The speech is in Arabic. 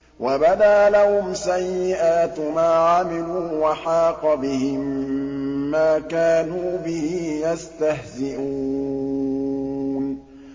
وَبَدَا لَهُمْ سَيِّئَاتُ مَا عَمِلُوا وَحَاقَ بِهِم مَّا كَانُوا بِهِ يَسْتَهْزِئُونَ